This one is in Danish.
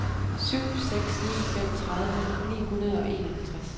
syv seks ni fem tredive ni hundrede og enoghalvtreds